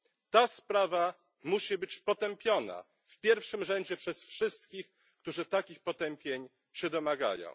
Ta sprawa musi być potępiona w pierwszym rzędzie przez wszystkich, którzy takich potępień się domagają.